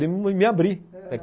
abrir